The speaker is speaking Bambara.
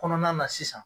Kɔnɔna na sisan